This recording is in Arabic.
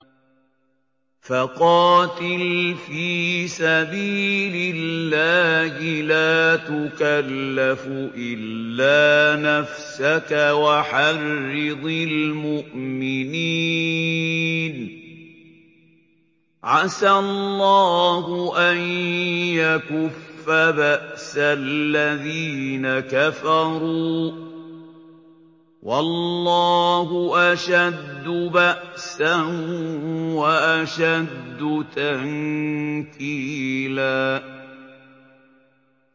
فَقَاتِلْ فِي سَبِيلِ اللَّهِ لَا تُكَلَّفُ إِلَّا نَفْسَكَ ۚ وَحَرِّضِ الْمُؤْمِنِينَ ۖ عَسَى اللَّهُ أَن يَكُفَّ بَأْسَ الَّذِينَ كَفَرُوا ۚ وَاللَّهُ أَشَدُّ بَأْسًا وَأَشَدُّ تَنكِيلًا